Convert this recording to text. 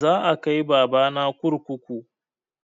Za a kai baba na kurkuku